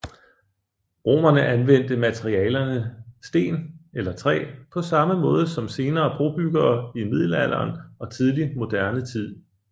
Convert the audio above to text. Romerne anvendte materialerne sten eller træ på samme måde som senere brobyggere i Middelalderen og Tidlig moderne tid